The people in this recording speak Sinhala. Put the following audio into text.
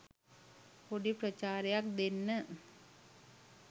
පොඩි ප්‍රචාරයක් දෙන්න.